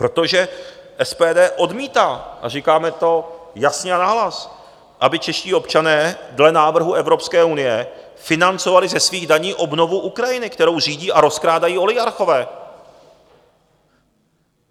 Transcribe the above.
Protože SPD odmítá, a říkáme to jasně a nahlas, aby čeští občané dle návrhu Evropské unie financovali ze svých daní obnovu Ukrajiny, kterou řídí a rozkrádají oligarchové.